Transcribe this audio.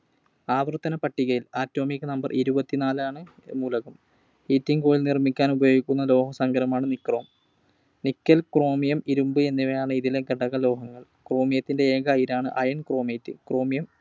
ആവർത്തനപ്പട്ടികയിൽ Atomic Number ഇരുപത്തിനാലാമത്തെ മൂലകം. Heating coil നിർമ്മിക്കാൻ ഉപയോഗിക്കുന്ന ലോഹസങ്കരമാണ് Nichrome. Nickel, Chromium, ഇരുമ്പ് എന്നിവയാണ് ഇതിലെ ഘടകലോഹങ്ങൾ. Chromium ത്തിൻറെ ഏക അയിരാണ് Iron Chromium chromium.